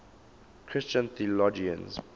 christian theologians